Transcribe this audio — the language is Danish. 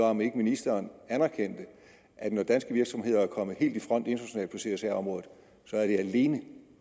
om ikke ministeren anerkender at når danske virksomheder er kommet helt i front internationalt på csr området er det alene